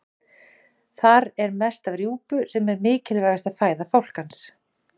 Þar er mest af rjúpu sem er mikilvægasta fæða fálkans.